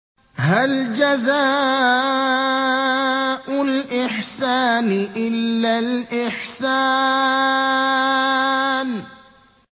هَلْ جَزَاءُ الْإِحْسَانِ إِلَّا الْإِحْسَانُ